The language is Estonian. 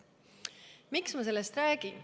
Miks ma sellest räägin?